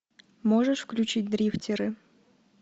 можешь включить дрифтеры